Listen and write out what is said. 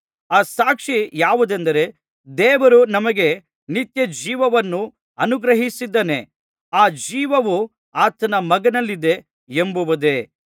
ಆ ಸಾಕ್ಷಿ ಯಾವುದೆಂದರೆ ದೇವರು ನಮಗೆ ನಿತ್ಯಜೀವವನ್ನು ಅನುಗ್ರಹಿಸಿದ್ದಾನೆ ಆ ಜೀವವು ಆತನ ಮಗನಲ್ಲಿದೆ ಎಂಬುದೇ